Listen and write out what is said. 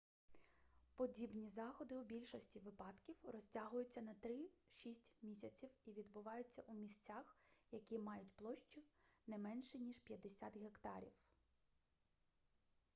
подібні заходи у більшості випадків розтягуються на три-шість місяців і відбуваються у місцях які мають площу не менше ніж 50 гектарів